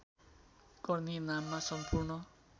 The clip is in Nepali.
गर्ने नाममा सम्पूर्ण